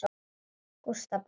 Gústa batnar.